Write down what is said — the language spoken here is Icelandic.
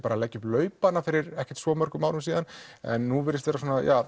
að leggja upp laupana fyrir ekki svo mörgum árum en nú virðist vera